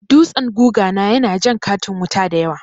Dutsen guga na ya na jan katin wuta dayawa